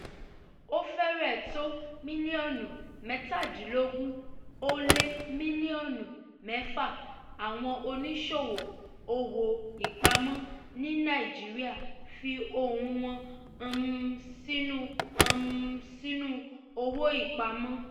ó fẹ́rẹ̀ẹ́ tó mílíọ̀nù mẹ́tàdínlọ́gún ó lé mílíọ̀nù mẹ́fà àwọn oníṣòwò owó-ìpamọ́ ní nàìjíríà fi ohun wọn um sínú um sínú owó-ìpamọ́.